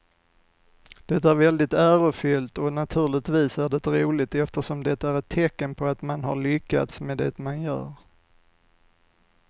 Det är väldigt ärofyllt och naturligtvis är det roligt eftersom det är ett tecken på att man har lyckats med det man gör.